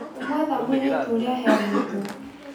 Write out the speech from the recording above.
Kũmwetha mũirĩtu ũrĩa aheanĩtwo